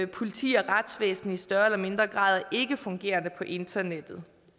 politi og retsvæsen i større eller mindre grad ikke fungerer på internettet